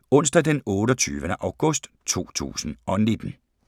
Onsdag d. 28. august 2019